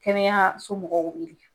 Kɛnɛyaso mɔgɔw wele